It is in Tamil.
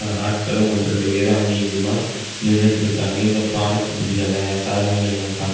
ஆட்களும் ஒன்று இரண்டு பேரு அங்கிங்குமா நினிட்ருக்காங்க இந்த ப்ராடக்ட் இந்த சாதனங்கள் எல்லா பாக்க.